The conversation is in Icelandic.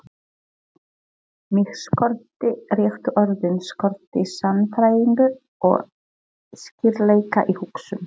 Mig skorti réttu orðin, skorti sannfæringu og skýrleika í hugsun.